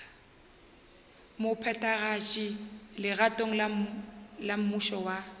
mophethagatši legatong la mmušo wa